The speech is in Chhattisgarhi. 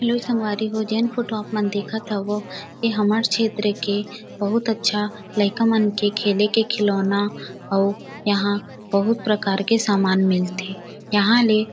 हैलो संगवारी हो जेन फोटो आप मन देखत हव वोह ए हमार क्षेत्र के बहुत अच्छा लईका मन के खेले के खिलौना अऊ यहाँ बहुत प्रकार के सामान मिलथे यहाँ ले --